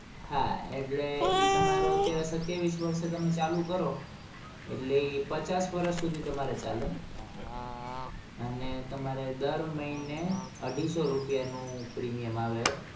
હા એટલે ઈ તમારો અત્યારે સત્યાવીસ વર્ષે તમે ચાલુ કરો એટલે એ પચાસ વર્ષ સુધી તમારે ચાલે અને તમારે દર મહીને અઢીસો રૂપીયા નું premium આવે.